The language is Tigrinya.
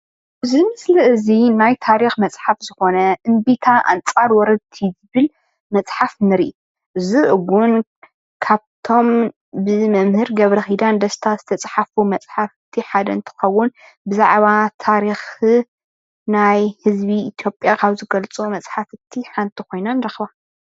እዚ ምስሊ እዚ እምቢታ ኣንፃር ወረርቲ ዝብል መፅሓፍ ንርኢ። እዚ ውን ካብቶመም ብመምህር ገብረኺዳን ደስታ ዝተፀሓፉ መፀሓፍቲ ሓደ እንትኸውን ብዛዕባ ታሪኽ ኢትዮጵያ ካብ ዝገልፁ ሓንቲ ኾይና ንረኽባ።